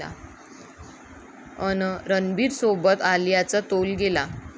...अन् रणबीरसोबत आलियाचा तोल गेला